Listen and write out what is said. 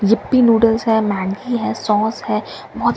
Yippee noodles है Maggi है sauce है बहुत --